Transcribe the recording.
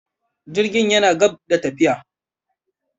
Jirgin yana gab da tafiya.